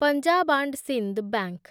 Punjab and Sind bank